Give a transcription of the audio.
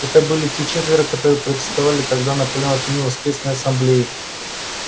это были те четверо которые протестовали тогда наполеон отменил воскресный ассамблей